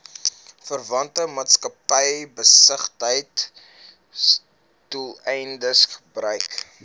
verwante maatskappybesigheidsdoeleindes gebruik